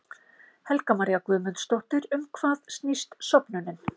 Helga María Guðmundsdóttir: Um hvað snýst söfnunin?